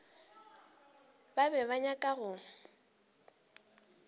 ba be ba nyaka go